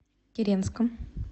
киренском